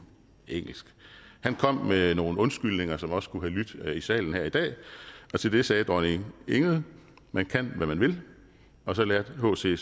engelsk han kom med nogle undskyldninger som også kunne have lydt her i salen i dag og til det sagde dronning ingrid man kan hvad man vil og så lærte hc